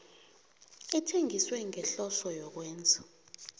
ithengiswe ngehloso yokwenza